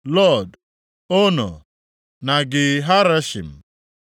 Lod, Ono na Ge Harashim. + 11:35 Maọbụ, Ndagwurugwu ndị na-akwa ǹka